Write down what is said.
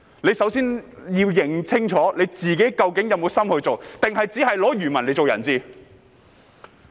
大家先要認清楚自己是否有心做，還是只把漁民作人質？